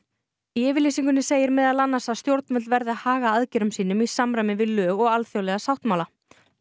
í yfirlýsingunni segir að meðal annars að stjórnvöld verði að haga aðgerðum sínum í samræmi við lög og alþjóðlega sáttmála